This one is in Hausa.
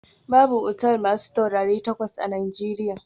Babu otal masu taurari takwas a Najeriya